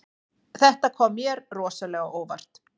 Þetta kom mér rosalega á óvart